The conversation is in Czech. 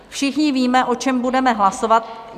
Všichni víme, o čem budeme hlasovat.